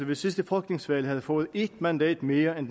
ved sidste folketingsvalg havde fået et mandat mere end